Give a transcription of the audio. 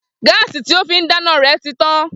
Gáàsì tí ó fín dáná rẹ̀ ti tán